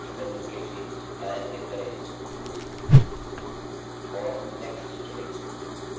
वैकल्पिक रूप से context menu के लिए दायाँclick करें और next चुनें